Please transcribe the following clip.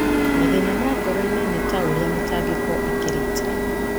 Mathĩna ma ngoro-inĩ ta ũrĩa mĩtangĩko ĩkĩrĩte.